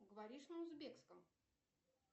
говоришь на узбекском